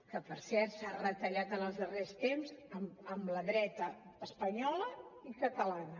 que per cert s’ha retallat en els darrers temps amb les dretes espanyola i catalana